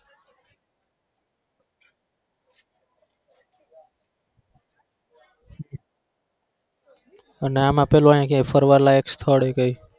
અને આમાં પેલો એમ કે ફરવા લાયક સ્થળ કઈ?